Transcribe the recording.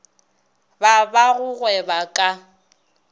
ba ba go gweba ka